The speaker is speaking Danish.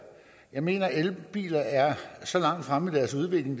jeg mener at elbiler er så langt fremme i deres udvikling